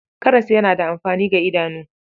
Karas yana da amfani ga idanu.